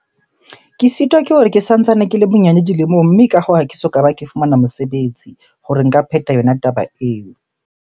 Ke sitwa ke hore ke santsane ke le monyane dilemong. Mme ka hoo, ha ke soka ba ke fumana mosebetsi hore nka pheta yona taba eo.